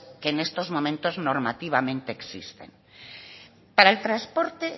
que en estos momentos normativamente existen para el transporte